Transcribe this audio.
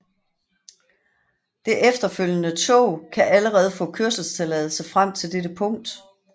Det efterfølgende tog kan allerede få kørselstilladelse frem til dette punkt